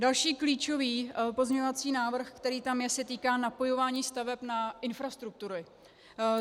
Další klíčový pozměňovací návrh, který tam je, se týká napojování staveb na infrastrukturu.